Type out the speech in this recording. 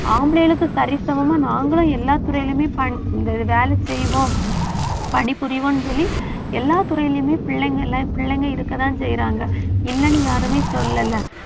ஆம்பளைங்களுக்கு சரிசமமா நாங்களும் எல்லா துறையிலுமே ப~ இந்த வேலை செய்வோம். பணிபுரிவோம்னு சொல்லி எல்லா துறையிலுமே பிள்ளைங்க எல்லாம் பிள்ளைங்க இருக்கத்தான் செய்யறாங்க இல்லைன்னு யாருமே சொல்லலை